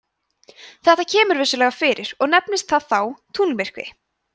þetta kemur vissulega fyrir og nefnist það þá tunglmyrkvi